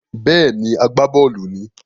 Bẹ́ẹ̀ni, agbábọ́ọ̀lù ni